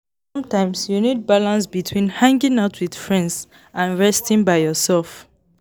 Sometimes, you need balance between hanging out with friends and resting by yourself.